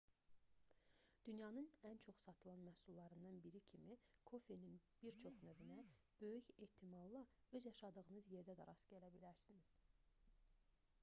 dünyanın ən çox satılan məhsullarından biri kimi kofenin bir çox növünə böyük ehtimalla öz yaşadığınız yerdə də rast gələ bilərsiniz